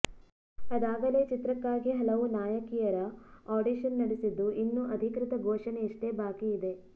ಅದಾಗಲೇ ಚಿತ್ರಕ್ಕಾಗಿ ಹಲವು ನಾಯಕಿಯರ ಆಡಿಷನ್ ನಡೆಸಿದ್ದು ಇನ್ನು ಅಧಿಕೃತ ಘೋಷಣೆಯಷ್ಟೆ ಬಾಕಿ ಇದೆ